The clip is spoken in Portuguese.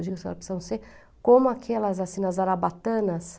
Eu digo, senhora, precisam ser como aquelas, assim, nas arabatanas,